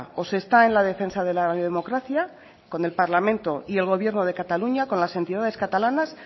o se está en la defensa de la democracia con el parlamento y el gobierno de cataluña con las entidades catalanas